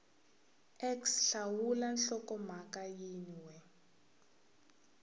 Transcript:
x hlawula nhlokomhaka yin we